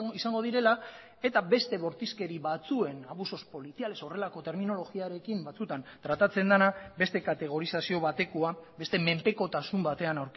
izango direla eta beste bortizkeri batzuen abusos policiales horrelako terminologiarekin batzutan tratatzen dena beste kategorizazio batekoa beste menpekotasun batean